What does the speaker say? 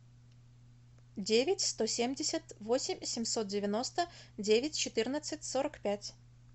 девять сто семьдесят восемь семьсот девяносто девять четырнадцать сорок пять